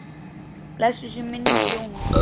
Blessuð sé minning Jónu.